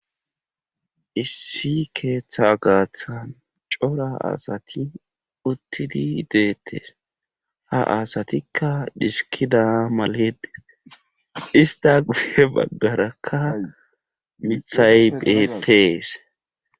Issi keeththa gaaththan cora asati uttidi deettes ha asatikka diskida malede ista gufe baggarakka mithay beetees.